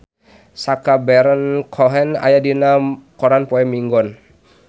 Sacha Baron Cohen aya dina koran poe Minggon